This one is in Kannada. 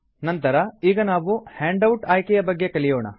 ನಂತರ ಈಗ ನಾವು ಹ್ಯಾಂಡ್ ಔಟ್ ಆಯ್ಕೆಯ ಬಗ್ಗೆ ಕಲಿಯೋಣ